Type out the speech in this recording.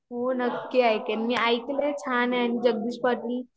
हो ना नक्की ऐकेन, मी ऐकलय छान आहे मी जगदीश पाटील